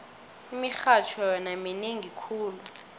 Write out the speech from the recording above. imirharho yona minengi khulu